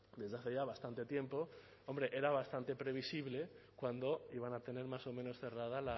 desde hace ya bastante tiempo hombre era bastante previsible cuándo iban a tener más o menos cerrada